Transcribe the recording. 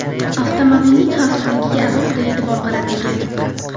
Avtomobilning xavfsizligiga alohida e’tibor qaratilgan.